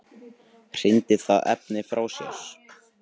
Hrindir það efni frá sér?